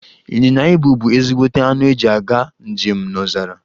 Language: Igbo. Inyịnya ibù bu ezigbote anụ eji aga njem n'ọzara.